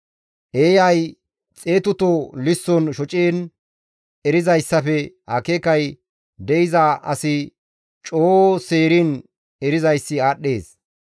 Eeyay xeetuto lisson shociin erizayssafe akeekay de7iza asi coo seeriin erizayssi aadhdhees.